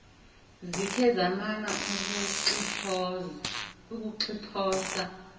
zikhe zamana ukuxiphosa